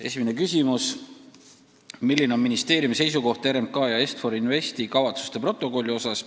Esimene küsimus: "Milline on ministeeriumi seisukoht RMK ja Est-For Investi kavatsuste protokolli osas?